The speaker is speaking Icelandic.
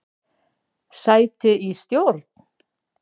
Sæti í stjórn?